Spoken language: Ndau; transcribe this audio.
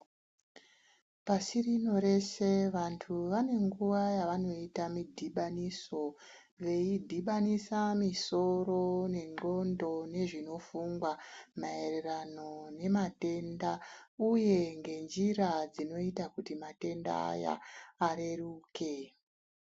Pashi rino reshe vabtu vane nguwa yekuita midhibanuso veidhibanisa musoro nengonxo nezvinofungwa maererano nematenda uye nenjira dzinoita kuti matenda aya areruke.